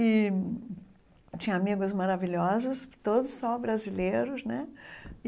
E tinha amigos maravilhosos, todos só brasileiros né.